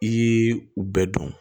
I y'i u bɛɛ dɔn